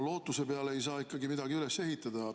Lootuse peale ei saa midagi üles ehitada.